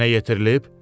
Yerinə yetirilib?